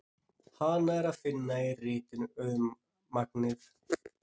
Hana er að finna í ritinu Auðmagnið.